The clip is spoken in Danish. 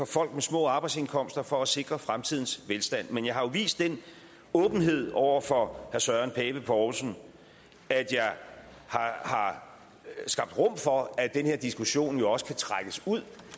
folk med små arbejdsindkomster for at sikre fremtidens velstand men jeg har jo vist den åbenhed over for søren pape poulsen at jeg har skabt rum for at den her diskussion også kan trækkes ud